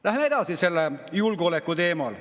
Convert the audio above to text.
Läheme edasi julgeoleku teemal.